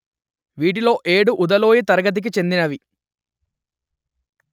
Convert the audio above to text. వీటిలో ఏడు ఉదాలోయ్ తరగతికి చెందినవి